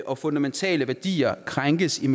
og fundamentale værdier krænkes i